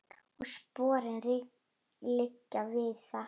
Og sporin liggja víða.